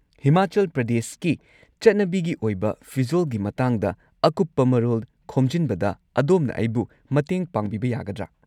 ꯍꯤꯃꯥꯆꯜ ꯄ꯭ꯔꯗꯦꯁꯀꯤ ꯆꯠꯅꯕꯤꯒꯤ ꯑꯣꯏꯕ ꯐꯤꯖꯣꯜꯒꯤ ꯃꯇꯥꯡꯗ ꯑꯀꯨꯞꯄ ꯃꯔꯣꯜ ꯈꯣꯝꯖꯤꯟꯕꯗ ꯑꯗꯣꯝꯅ ꯑꯩꯕꯨ ꯃꯇꯦꯡ ꯄꯥꯡꯕꯤꯕ ꯌꯥꯒꯗ꯭ꯔꯥ?